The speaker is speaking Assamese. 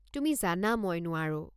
তুমি জানা মই নোৱাৰো।